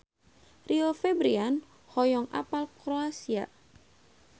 Rio Febrian hoyong apal Kroasia